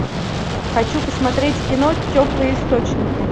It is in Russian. хочу посмотреть кино теплые источники